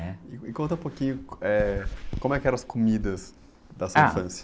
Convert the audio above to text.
né?, e conta um pouquinho, eh, como é que eram as comidas da sua infância.h...